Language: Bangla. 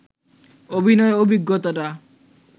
অভিনয়ের অভিজ্ঞতাটা